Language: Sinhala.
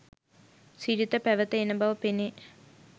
සිරිත පැවත එන බව පෙනේ.